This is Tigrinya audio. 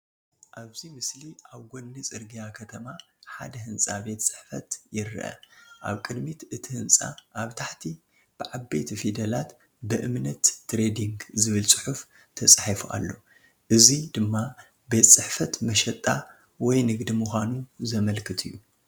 ኣብዚ ምስሊ ኣብ ጎኒ ጽርግያ ከተማ ሓደ ህንጻ ቤት ጽሕፈት ይርአ። ኣብ ቅድሚት እቲ ህንጻ ኣብ ታሕቲ ብዓበይቲ ፊደላት "በእምነት ትሬዲንግ" ዝብል ጽሑፍ ተጻሒፉ ኣሎ፡ እዚ ድማ ቤት ጽሕፈት መሸጣ ወይ ንግዲ ምዃኑ ዘመልክት እዩ።